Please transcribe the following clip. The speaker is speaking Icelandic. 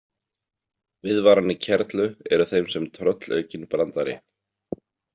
Viðvaranir kerlu eru þeim sem tröllaukinn brandari.